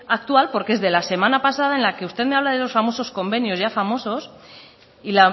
actual porque es de la semana pasada en la que usted me habla de los famosos convenios ya famosos y